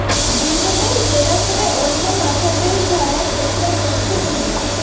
ধৃতদের জেরা করে অন্য় মাথাদের ধরার চেষ্টা করছে পুলিশ